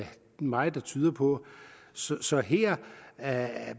meget der tyder på så så her